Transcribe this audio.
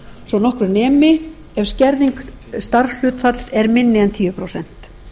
svo nokkru nemi ef skerðing starfshlutfalls er minna en tíu prósent